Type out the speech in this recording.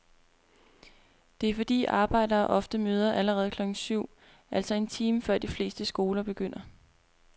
Det er fordi arbejdere ofte møder allerede klokken syv, altså en time før de fleste skoler begynder.